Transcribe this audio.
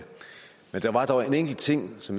så